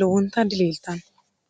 lowonta diliiltanno